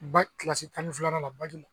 N ba kilasi tan ni filanan la bagi la